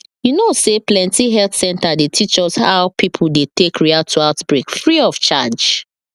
you know say plenty health center dey teach us how people dey take react to outbreak free of charge